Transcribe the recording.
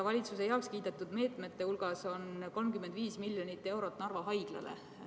Valitsuse heakskiidetud meetmete hulgas on 35 miljonit eurot Narva Haiglale.